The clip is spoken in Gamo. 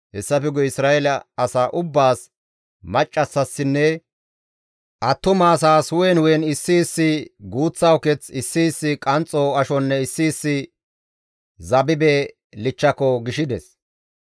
Hessafe guye Isra7eele asa ubbaas, maccassaassinne attumasaas, hu7en hu7en issi issi guuththa uketh, issi issi qanxxo ashonne issi issi zabibe kompa gishides.